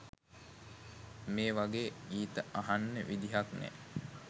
මේ වගේ ගීත අහන්න විදිහක් නෑ.